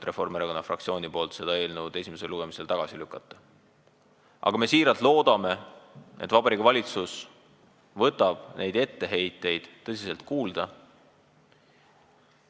Reformierakonna fraktsioon ei tee ettepanekut seda eelnõu esimesel lugemisel tagasi lükata, aga me loodame siiralt, et Vabariigi Valitsus võtab etteheiteid tõsiselt kuulda.